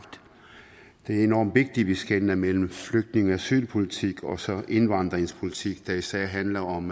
det er enormt vigtigt at vi skelner mellem flygtninge og asylpolitik og så indvandringspolitik der især handler om